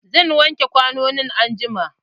Zan wake kwanonin anjuma.